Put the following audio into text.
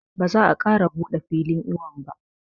Ba za a ƙara buɗe filin iwon ba